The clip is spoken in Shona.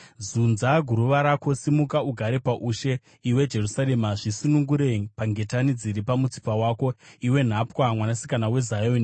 Zunza guruva rako: simuka, ugare paushe, iwe Jerusarema. Zvisunungure pangetani dziri pamutsipa wako, iwe nhapwa, Mwanasikana weZioni.